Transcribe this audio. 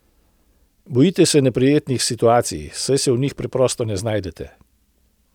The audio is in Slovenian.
Bojite se neprijetnih situacij, saj se v njih preprosto ne znajdete.